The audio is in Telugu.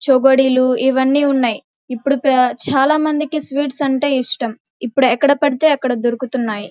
చేగోడీలు ఇవన్నీ ఉన్నాయి. ఇప్పుడు చాలామందికి స్వీట్స్ అంటే ఇష్టం. ఇప్పుడు ఎక్కడ పడితే అక్కడ దొరుకుతున్నాయి.